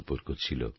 সম্পর্ক ছিল